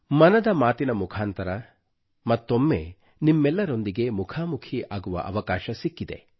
ಮನದ ಮಾತಿನ ಮುಖಾಂತರ ಮತ್ತೊಮ್ಮೆ ನಿಮ್ಮೆಲ್ಲರೊಂದಿಗೆ ಮುಖಾಮುಖಿ ಆಗುವ ಅವಕಾಶ ಸಿಕ್ಕಿದೆ